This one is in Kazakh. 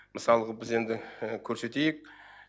мысалғы біз енді көрсетейік